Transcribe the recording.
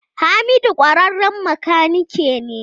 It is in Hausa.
Hamidu kwararren makanike ne.